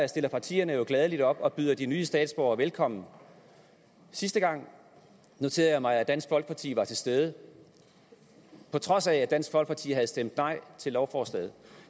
stiller partierne jo gladelig op og byder de nye statsborgere velkommen sidste gang noterede jeg mig at dansk folkeparti var til stede på trods af at dansk folkeparti havde stemt nej til lovforslaget